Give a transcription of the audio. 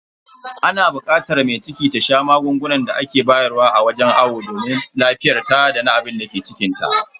Ana bukatar mai ciki ta sha magungunan da ake bayar wa a wajen awo domin lafiyarta dana abinda ke cikinta.